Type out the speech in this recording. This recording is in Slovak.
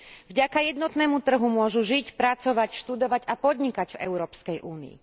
Vďaka jednotnému trhu môžu žiť, pracovať, študovať a podnikať v Európskej únii.